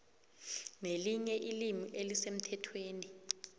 nelinye ilimi elisemthethweni